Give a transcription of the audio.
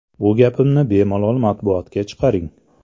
Bu gapimni bemalol matbuotga chiqaring.